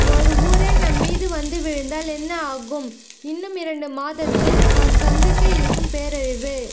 ஒரு ஊரே நம்மீது வந்து விழுந்தால் என்ன ஆகும் இன்னும் இரண்டு மாதத்தில் நாம் சந்திக்க இருக்கும் பேரழிவு